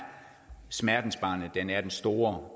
smertensbarnet den er den store